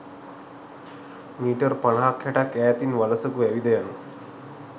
metre පනහක් හැටක් ඈතින් වලසකු ඇවිද යනු